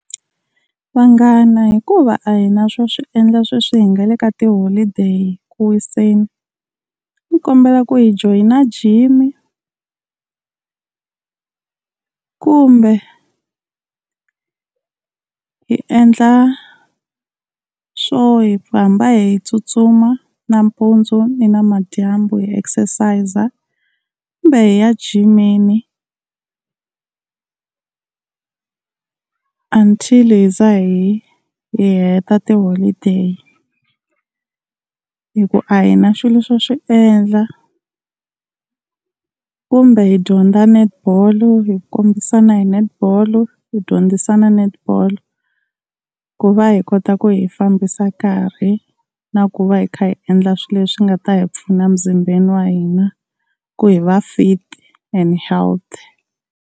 Vanghana hikuva a hi na swo swi endla sweswi hi nga le ka tiholideyi ku wiseni a ni kombela ku hi joyina gym, kumbe hi endla swo hi hamba hi tsutsuma nampundzu ni namadyambu hi exercise, kumbe hi ya jimini until hi za hi hi heta tiholideyi hi ku a hi na swilo swo swi endla. Kumbe hi dyondza Netball, hi kombisana hi Netball, hi dyondzisana Netball ku va hi kota ku hi fambisa nkarhi, na ku va hi kha hi endla swilo leswi nga ta hi pfuna mizimbeni wa hina ku hi va fit and healthy.